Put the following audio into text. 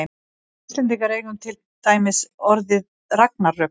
við íslendingar eigum til dæmis orðið ragnarök